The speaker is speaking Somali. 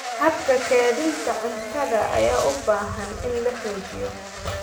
Habka kaydinta cuntada ayaa u baahan in la xoojiyo.